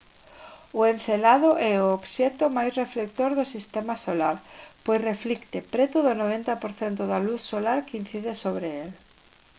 o encélado é o obxecto máis reflector do sistema solar pois reflicte preto do 90 % da luz solar que incide sobre el